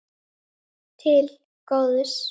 Til góðs.